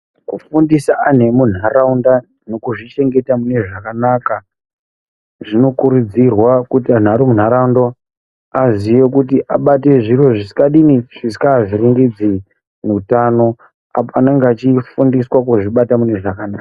Kufundaisa antu emunharaunda nekuzvi chengeta mune zvakanaka zvinokuridzirwa kuti antu vari mundaraunda aziye kuti abate zviro zvisingadini avhiringidze utano apo anenge achifundiswa kuzvibata mune zvakanaka.